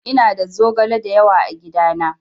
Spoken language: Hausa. Ina da zogale dayawa a gidana.